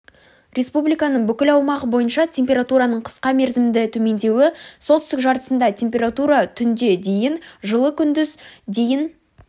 республиканың бүкіл аумағы бойынша температураның қысқа мерзімді төмендеуі солтүстік жартысында температура түнде дейін жылы күндіз дейін